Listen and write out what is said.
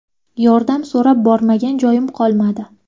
Yordam so‘rab bormagan joyim qolmadi.